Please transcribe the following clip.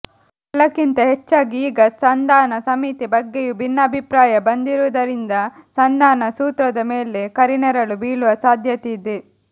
ಎಲ್ಲಕ್ಕಿಂತ ಹೆಚ್ಚಾಗಿ ಈಗ ಸಂಧಾನ ಸಮಿತಿ ಬಗ್ಗೆಯೂ ಭಿನ್ನಾಭಿಪ್ರಾಯ ಬಂದಿರುವುದರಿಂದ ಸಂಧಾನ ಸೂತ್ರದ ಮೇಲೆ ಕರಿನೆರಳು ಬೀಳುವ ಸಾಧ್ಯತೆ ಇದೆ